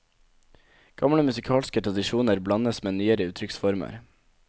Gamle musikalske tradisjoner blandes med nyere uttrykksformer.